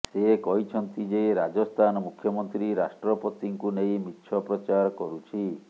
ସେ କହିଛନ୍ତି ଯେ ରାଜସ୍ଥାନ ମୁଖ୍ୟମନ୍ତ୍ରୀ ରାଷ୍ଟ୍ରପତିଙ୍କୁ ନେଇ ମିଛ ପ୍ରଚାର କରୁଛି